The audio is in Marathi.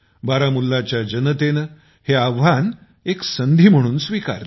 बारामुल्लाच्या जनतेने हे आव्हान एक संधी म्हणून स्वीकारले